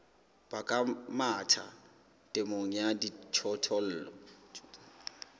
baka mathata temong ya dijothollo